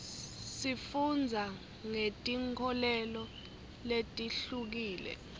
sifundza ngeti nkholelo letihlukile